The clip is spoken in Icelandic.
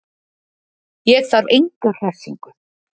Ég þarf enga hressingu.